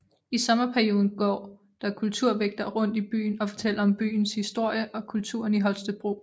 I sommerperioden går der kulturvægtere rundt i byen og fortæller om byens historie og kulturen i Holstebro